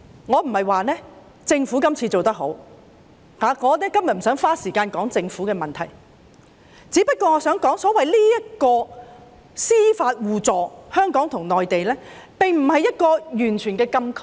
我不是說政府今次做得好，我今天不想花時間談論政府的問題，我只想指出在所謂"司法互助"上，香港與內地並非一個絕對禁區。